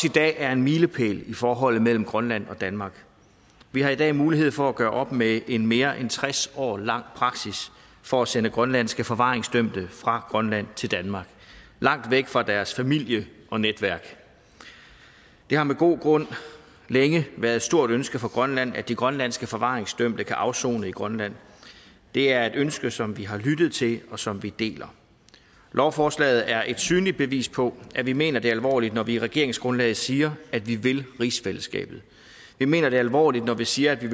i dag er en milepæl i forholdet mellem grønland og danmark vi har i dag mulighed for at gøre op med en mere end tres år lang praksis for at sende grønlandske forvaringsdømte fra grønland til danmark langt væk fra deres familier og netværk det har med god grund længe været et stort ønske fra grønland at de grønlandske forvaringsdømte kan afsone i grønland det er et ønske som vi har lyttet til og som vi deler lovforslaget er et synligt bevis på at vi mener det alvorligt når vi i regeringsgrundlaget siger at vi vil rigsfællesskabet vi mener det alvorligt når vi siger at vi